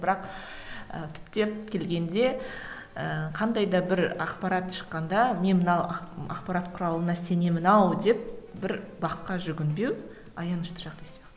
бірақ ыыы түптеп келгенде ыыы қандай да бір ақпарат шыққанда мен мынау ақпарат құралына сенемін ау деп бір бақ қа жүгінбеу аянышты жағдай сияқты